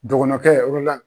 Dɔgɔnɔkɛ